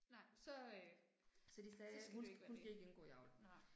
Nej så øh. Så skal det jo ikke være det, nej